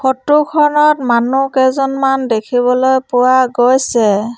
Photo খনত মানুহ কেইজনমান দেখিবলৈ পোৱা গৈছে।